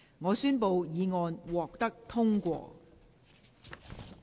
我宣布議案獲得通過。